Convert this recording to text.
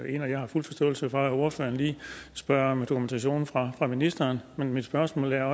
jeg har fuld forståelse for at ordføreren lige spørger om dokumentationen fra ministeren men mit spørgsmål er